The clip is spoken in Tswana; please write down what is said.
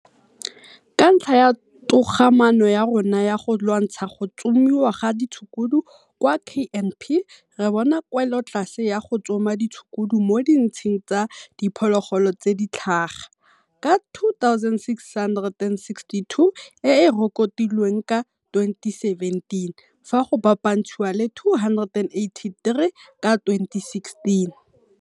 Ka ntlha ya togamaano ya rona ya go lwantsha go tsomiwa ga ditshukudu kwa KNP re bona kwelotlase ya go tsoma ditshukudu mo ditsheng tsa diphologolo tse di tlhaga, ka 2662 e e rekotilweng ka 2017 fa go bapantshiwa le 2883 ka 2016.